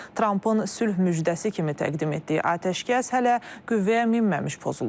Trampın sülh müjdəsi kimi təqdim etdiyi atəşkəs hələ qüvvəyə minməmiş pozulub.